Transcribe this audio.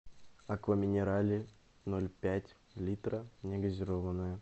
аква минерале ноль пять литра негазированная